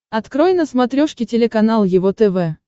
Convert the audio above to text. открой на смотрешке телеканал его тв